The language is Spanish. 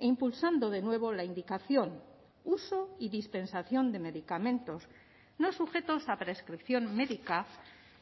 impulsando de nuevo la indicación uso y dispensación de medicamentos no sujetos a prescripción médica